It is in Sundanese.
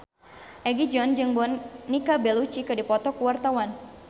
Egi John jeung Monica Belluci keur dipoto ku wartawan